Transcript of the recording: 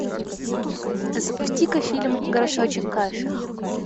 запусти ка фильм горшочек каши